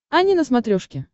ани на смотрешке